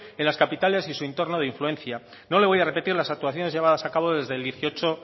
en las capitales y su entorno de influencia no le voy a repetir las actuaciones llevadas a cabo desde el dieciocho